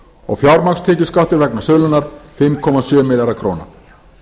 og fjármagnstekjuskattur vegna sölunnar fimm komma sjö milljarðar króna